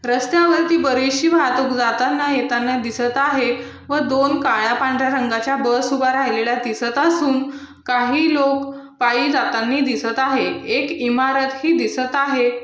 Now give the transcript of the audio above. रस्त्यावरती बरीचशी वाहतूक जातांना येताना दिसत आहे व दोन काळ्या पांढर्‍या रंगाच्या बस उभ्या राहिलेल्या दिसत असून काही लोक पाई जातांना दिसत आहेत एक इमारतही दिसत आहे.